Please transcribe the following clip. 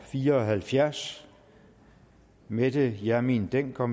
fire og halvfjerds mette hjermind dencker